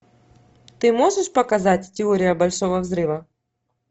ты можешь показать теория большого взрыва